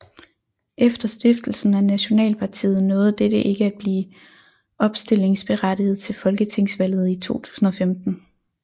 Efter stiftelsen af Nationalpartiet nåede dette ikke at blive opstillingsberettiget til folketingsvalget i 2015